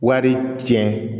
Wari tiɲɛ